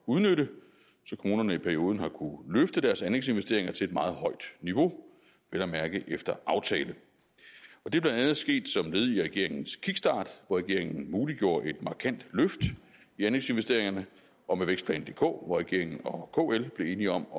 udnytte så kommunerne i perioden har kunnet løfte deres anlægsinvesteringer til et meget højt niveau vel at mærke efter aftale det er blandt andet sket som led i regeringens kickstart hvor regeringen muliggjorde et markant løft i anlægsinvesteringerne og med vækstplan dk hvor regeringen og kl blev enige om at